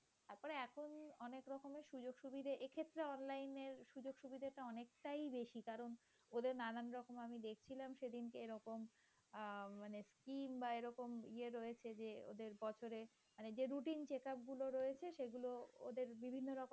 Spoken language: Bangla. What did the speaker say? সে ক্ষেত্রে অনলাইনে সুযোগ-সুবিধা টা অনেকটাই বেশি কারণ ওদের নানান রকম আমি দেখছিলাম সেদিন এরকম আহ মানে বা এরকম ইয়ে রয়েছে যে বছরের মানে যে routine check up গুলো রয়েছে সেগুলো ওদের বিভিন্ন রকম